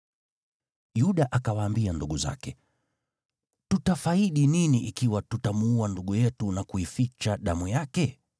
Yuda akawaambia ndugu zake, “Tutafaidi nini ikiwa tutamuua ndugu yetu na kuificha damu yake?